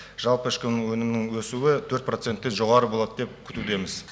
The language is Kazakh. жалпы ішкі өнімнің өсуі тен жоғары болады деп күтудеміз